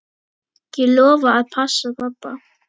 Ég lofa að passa pabba.